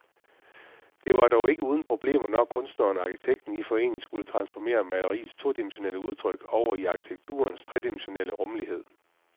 Det var dog ikke uden problemer, når kunstneren og arkitekten i forening skulle transformere maleriets todimensionelle udtryk over i arkitekturens tredimensionelle rumlighed.